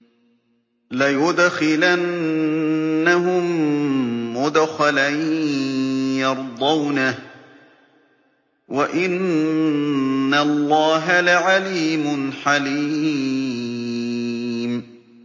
لَيُدْخِلَنَّهُم مُّدْخَلًا يَرْضَوْنَهُ ۗ وَإِنَّ اللَّهَ لَعَلِيمٌ حَلِيمٌ